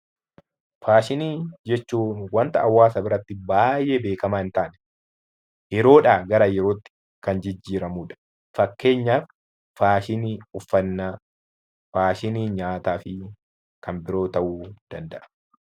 Faashinii jechuun waanta hawaasa biratti baayyee beekamaa hin taane, yeroodha gara yerootti kan jijjiiramudha. Fakkeenyaaf faashinii uffannaa , faashinii nyaataa fi kan biroo ta'uu danda'a.